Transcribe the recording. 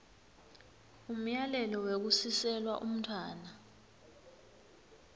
umyalelo wekusiselwa umntfwana